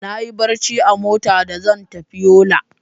Nayi barci a mota da za zan tafi Yola.